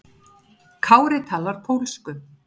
Kári talar pólsku.